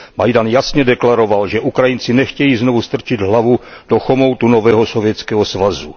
Majdan jasně deklaroval, že Ukrajinci nechtějí znovu strčit hlavu do chomoutu nového Sovětského svazu.